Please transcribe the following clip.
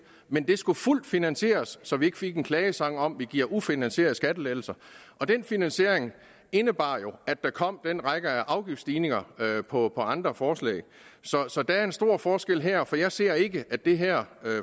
men det skulle være fuldt finansieret så vi ikke fik en klagesang om at vi gav ufinansierede skattelettelser den finansiering indebar jo at der kom en række afgiftsstigninger på andre forslag så der er en stor forskel her jeg ser ikke at det her